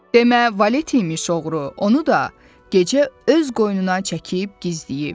Demə valet imiş oğru, onu da gecə öz qoynuna çəkib gizləyib.